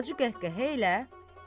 Acı qəhqəhə ilə: